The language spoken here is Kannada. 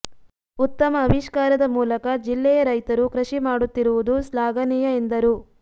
ಉತ್ತಮ ಅವಿಷ್ಕಾರದ ಮೂಲಕ ಜಿಲ್ಲೆಯ ರೈತರು ಕೃಷಿ ಮಾಡುತ್ತಿರುವುದು ಶ್ಲಾಘನೀಯ ಎಂದರು